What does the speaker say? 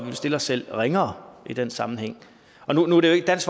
vil stille os selv ringere i den sammenhæng nu er dansk